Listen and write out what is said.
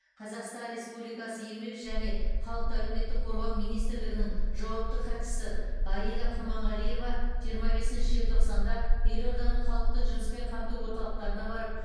қазақстан республикасы еңбек және халықты әлеуметтік қорғау министрлігінің жауапты хатшысы аида құрманғалиева жиырма бесінші желтоқсанда елорданың халықты жұмыспен қамту орталықтарына барып